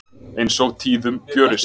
Eins og tíðum gjörist.